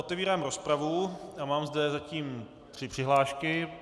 Otevírám rozpravu a mám zde zatím tři přihlášky.